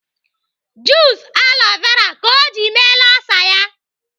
Jus aloe vera ka ọ ji meela olsa ya.